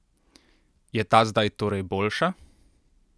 Je ta zdaj torej boljša?